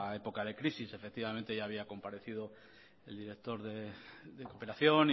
época de crisis efectivamente ya había comparecido el directo de cooperación